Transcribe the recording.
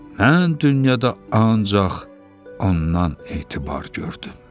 Mən dünyada ancaq ondan etibar gördüm.